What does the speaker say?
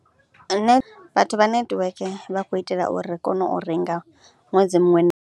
Nṋe vhathu vha netiweke vha khou itela uri ri kone u renga ṅwedzi muṅwe .